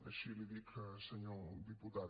així li ho dic senyor diputat